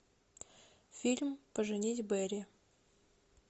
фильм поженить бэрри